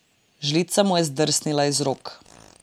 Žlica mu je zdrsnila iz rok.